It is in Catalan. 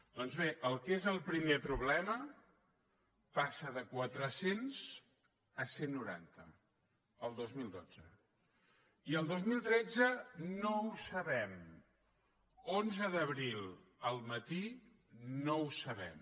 doncs bé el que és el primer problema passa de quatre cents a cent i noranta el dos mil dotze i el dos mil tretze no ho sabem onze d’abril al matí no ho sabem